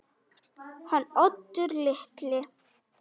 Hann Oddur litli?